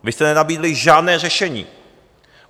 Vy jste nenabídli žádné řešení.